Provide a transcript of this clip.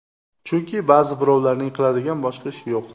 Chunki ba’zi birovlarning qiladigan boshqa ishi yo‘q!